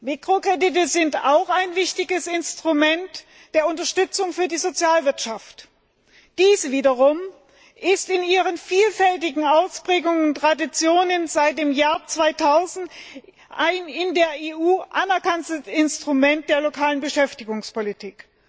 Mikrokredite sind auch ein wichtiges Instrument der Unterstützung für die Sozialwirtschaft. Diese wiederum ist in ihren vielfältigen Ausprägungen und Traditionen seit dem Jahr 2000 ein in der EU anerkanntes Instrument der lokalen Beschäftigungspolitik.